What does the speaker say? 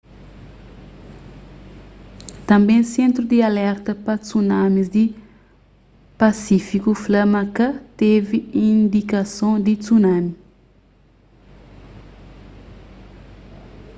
tânbe sentru di alerta pa tsunamis di pasífiku fla ma ka tevi indikason di tsunami